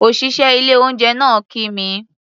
Òṣìṣẹ́ ilé-oúnjẹ náà kí mi.